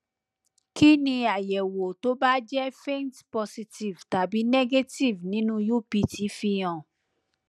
kí ni àyẹwò tó bá jẹ faint positive tàbi negative nínú upt fi hàn